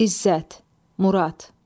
İzzət, Murad.